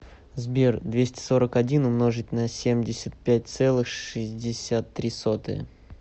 сбер двести сорок один умножить на семьдесят пять целых шестьдесят три сотые